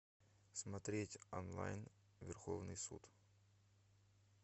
смотреть онлайн верховный суд